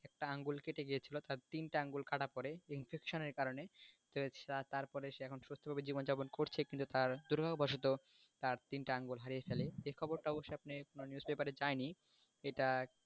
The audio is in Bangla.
একটা আঙুল কেটে গেছিলো তিন্টে আঙুল কাটা পড়ে infection এর কারনে তো হচ্ছে তারপরে সে এখন সুস্থভাবে জীবন জাপন করছে কিন্তু তা দুর্ভাগ্য বসত তার তিনটা আঙুল হারিয়ে ফেলে এই খবরটা অবুসস আপনি news paper এ যায়নি এইটা,